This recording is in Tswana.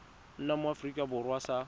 nna mo aforika borwa sa